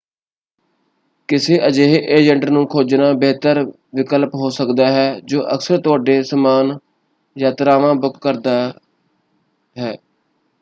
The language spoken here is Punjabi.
ਕਿਸੇ ਅਜਿਹੇ ਏਜੰਟ ਨੂੰ ਖੋਜਨਾ ਬਿਹਤਰ ਵਿਕਲਪ ਹੋ ਸਕਦਾ ਹੈ ਜੋ ਅਕਸਰ ਤੁਹਾਡੇ ਸਮਾਨ ਯਾਤਰਾਵਾਂ ਬੁੱਕ ਕਰਦਾ ਹੈ।